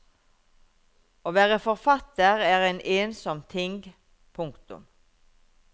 Å være forfatter er en ensom ting. punktum